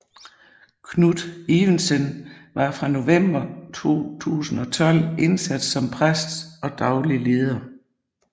Knut Evensen var fra november 2012 indsat som præst og daglig leder